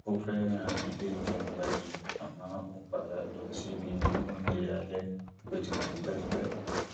ó fẹràn ilé ìjẹun gbayì àmọ ó ń padà lọ síbi oúnjẹ alẹ tó ti wà tipẹtipẹ